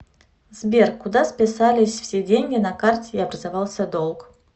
сбер куда списались все деньги на карте и образовался долг